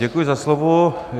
Děkuji za slovo.